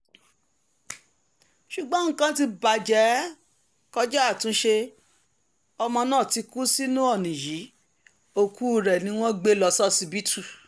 ṣùgbọ́n nǹkan ti bàjẹ́ kọjá àtúnṣe ọmọ náà ti kú sínú ọ̀nì yìí òkú rẹ̀ ni wọ́n gbé lọ ṣọsibítù